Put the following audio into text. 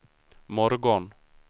morgon